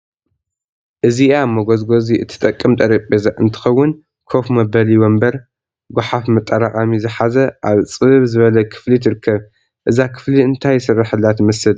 እዚአ መጎዝጎዚ እትጠቅም ጠረጴዛ እንትኸውን ኮፍ መበሊ ወንበር፣ ጓሐፍ መጣራቀሚ ዝሐዘ አብ ፅብብ ዝበለ ክፍሊ ትርከብ። እዛ ክፍሊ እንታይ ዝስረሐላ ትመስል?